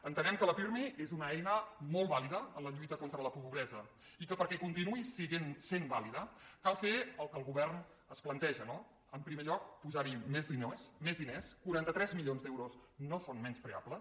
entenem que el pirmi és una eina molt vàlida en la lluita contra la pobresa i que perquè continuï sent vàlida cal fer el que el govern es planteja no en primer lloc posar hi més diners quaranta tres milions d’euros no són menyspreables